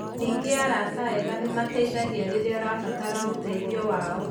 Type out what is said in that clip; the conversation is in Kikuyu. Ningĩ arata ega nĩ mateithagia rĩrĩa ũrabatara ũteithio wao.